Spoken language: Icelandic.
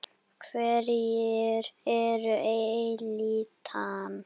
Hverjir eru elítan?